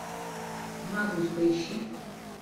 магнус поищи